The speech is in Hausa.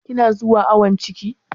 Kina zuwa awon ciki?